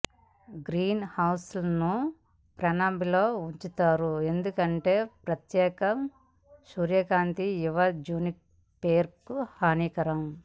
గ్రీన్హౌస్ను పెనాంబ్రాలో ఉంచారు ఎందుకంటే ప్రత్యక్ష సూర్యకాంతి యువ జునిపెర్కు హానికరం